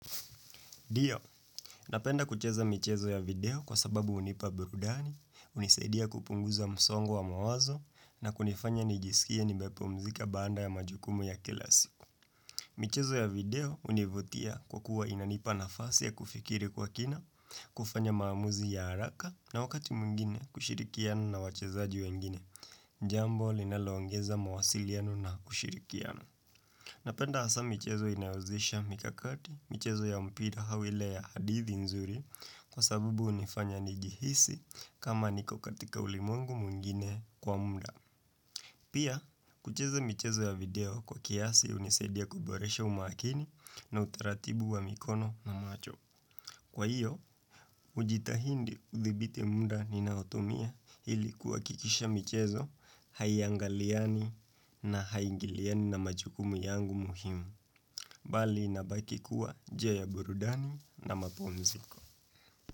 NDio, napenda kucheza michezo ya video kwa sababu hunipa burudani, hunisaidia kupunguza msongo wa mawazo na kunifanya nijisikia nimepumzika baada ya majukumu ya kila siku. Michezo ya video hunivutia kwa kuwa inanipa nafasi ya kufikiri kwa kina, kufanya maamuzi ya haraka na wakati mwingine kushirikiana na wachezaji wengine. Jambo linaloongeza mawasiliano na kushirikiana. Napenda hasa michezo inayozisha mikakati michezo ya mpira au ile ya hadithi nzuri kwa sabubu hunifanya nijihisi kama niko katika ulimwengu mwingine kwa munda. Pia, kucheze michezo ya video kwa kiasi hunisaidia kuboresha umakini na utaratibu wa mikono na macho. Kwa hiyo, hujitahindi kuthibite munda ninaotumia ilikukikisha michezo haiangaliani na haingiliani na majukumu yangu muhimu. Bali na baki kuwa, je burudani na mapumziko.